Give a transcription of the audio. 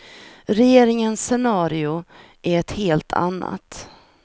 Regeringens scenario är ett helt annat.